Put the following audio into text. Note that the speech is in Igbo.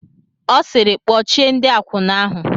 Ọ sịịrị, kpọchie ndị akwụna ahụ!